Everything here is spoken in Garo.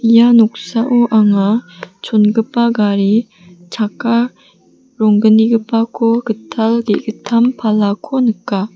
ia noksao anga chongipa gari chakka ronggnigipako gital ge·gittam palako nika.